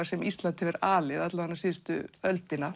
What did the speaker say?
sem Ísland hefur alið alla vega síðustu öldina